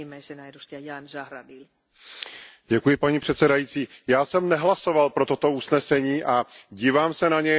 Paní předsedající, já jsem nehlasoval pro toto usnesení a dívám se na něj, musím říci, s velkým podezřením.